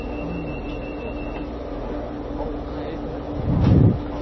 હમ હા એ જ ને